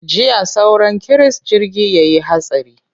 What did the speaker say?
Jiya sauran kiris jirgi ya yi hatsari.